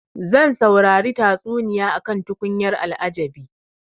Zan saurari tatsuniya akan tukunyar al'ajabi.